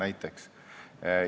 Võin seda kinnitada.